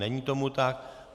Není tomu tak.